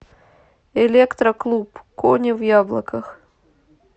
электроклуб кони в яблоках